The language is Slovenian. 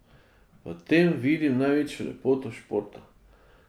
V tem vidim največjo lepoto športa.